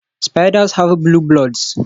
Spiders have blue bloods